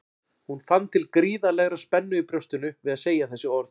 Hún fann til gríðarlegrar spennu í brjóstinu við að segja þessi orð.